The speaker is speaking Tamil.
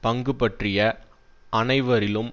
பங்கு பற்றிய அனைவரிலும்